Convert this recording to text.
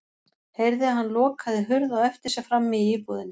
Heyrði að hann lokaði hurð á eftir sér frammi í íbúðinni.